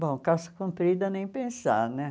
Bom, calça comprida, nem pensar né.